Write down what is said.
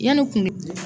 Yanni kun